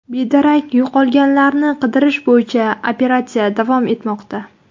Bedarak yo‘qolganlarni qidirish bo‘yicha operatsiya davom etmoqda.